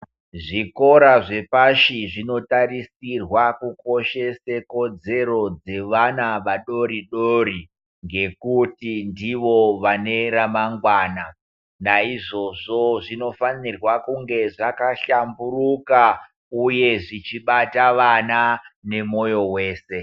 Zvikora zvepashi zvinotarisirwa kukoshese kodzero dzevana vadoridori ngekuti ndivo vane remangwana, naizvozvo zvinofanirwa kunge zvakahlamburuka uye zvichibata vana nemoyo wese.